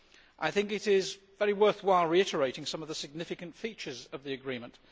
I think it is very worthwhile reiterating some of the significant features of the agreement.